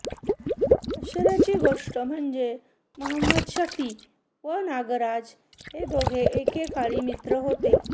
आश्चर्याची गोष्ट म्हणजे महम्मदशफी व नागराज हे दोघे एकेकाळी मित्र होते